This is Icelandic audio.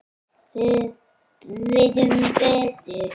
Við vitum betur